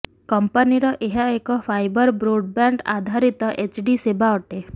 କଂପାନୀର ଏହା ଏକ fibre broadband ଆଧାରିତ ଏଚଡି ସେବା ଅଟେ